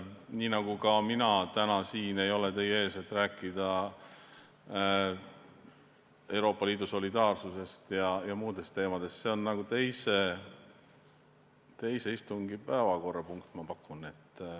Nii nagu mina täna siin ei ole teie ees selleks, et rääkida Euroopa Liidu solidaarsusest ja muudest teemadest – see on teise istungi päevakorrapunkt, ma pakun.